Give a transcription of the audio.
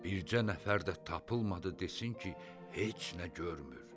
Bircə nəfər də tapılmadı desin ki, heç nə görmür.